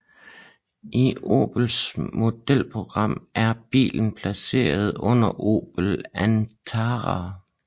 I Opels modelprogram er bilen placeret under Opel Antara